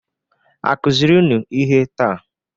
A kuziri unu ihe taa?